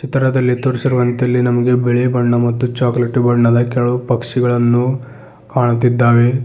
ಚಿತ್ರದಲ್ಲಿ ತೋರಿಸಿರುವಂತೆ ಇಲ್ಲಿ ನಮಗೆ ಬಿಳಿ ಬಣ್ಣ ಮತ್ತು ಚಾಕೊಲೇಟ್ ಬಣ್ಣದ ಕೆಲವು ಪಕ್ಷಿಗಳನ್ನು ಕಾಣುತ್ತಿದ್ದಾವೆ.